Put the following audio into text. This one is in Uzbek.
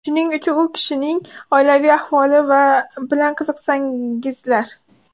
Shuning uchun u kishining oilaviy ahvoli bilan qiziqsangizlar.